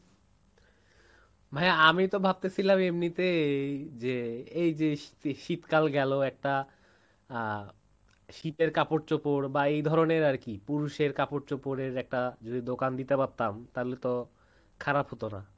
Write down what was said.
ভাইয়া আমি তো ভাবতেছিলাম এমনিতে যে এইযে শীতকাল গেলো একটা আহ শীতের কাপড় চোপড় বা এই ধরণের আরকি পুরুষের কাপড় চোপড় এর একটা দোকান দিতে পারতাম তাহলে তো খারাপ হতো না ?